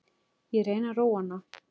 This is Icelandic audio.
Ég reyni að róa hana.